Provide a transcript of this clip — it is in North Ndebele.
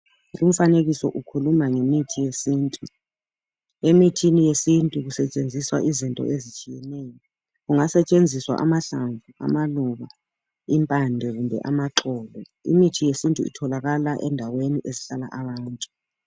Umfanekiso ukhuluma ngemithi yesintu, emithini yesintu kusetshenziswa izinto ezitshiyeneyo. Kungasetshenziswa amahlamvu amaluba impande kumbe amaxolo. Imithi yesintu itholakala endaweni ezihlala abantu.